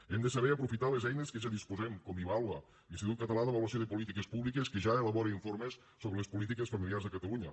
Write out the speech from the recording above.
hem de saber aprofitar les eines de què ja disposem com ivàlua l’institut català d’avaluació de polítiques públiques que ja elabora informes sobre les polítiques familiars a catalunya